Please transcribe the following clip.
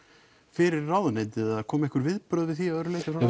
fyrir ráðuneytið eða komu einhver viðbrögð við því að öðru leyti frá